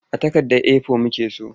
A takardar A4 muke so.